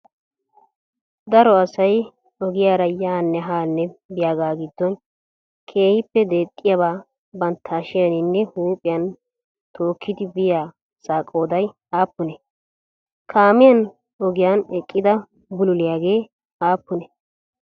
daro asay oogiyaraa yaanee haanee biyaagaa giddon keehippe deexxiyabaa bantta hashshiyaninne huphiyan tokkidi biyiya asa qooday appunne? kaammiyan oogiyan eqqida bululiyaage appunee?